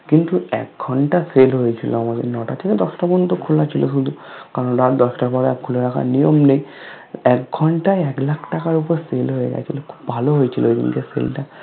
কিন্তু এক ঘন্টা Sell হয়েছিলো আমাদের নটা থেকে দশটা পর্যন্ত খোলা ছিল শুধু কারণ রাত দশটার পরে আর খুলে রাখার নিয়ম নেই একঘন্টায় একলাখ টাকার উপর Sale হয়ে গেছিলো খুব ভালো হয়েছিল ওইদিনকের Sale টা